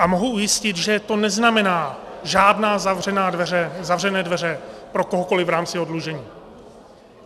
A mohu ujistit, že to neznamená žádné zavřené dveře pro kohokoliv v rámci oddlužení.